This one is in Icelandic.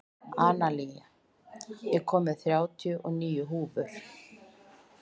Analía, ég kom með þrjátíu og níu húfur!